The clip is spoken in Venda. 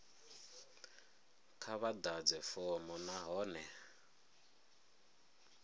kha vha ḓadze fomo nahone